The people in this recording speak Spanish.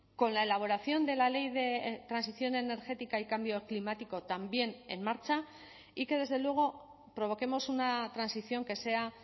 con la elaboración de la ley de transición energética y cambio climático también en marcha y que desde luego provoquemos una transición que sea